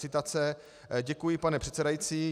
Citace: "Děkuji, pane předsedající.